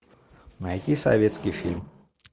найти советский фильм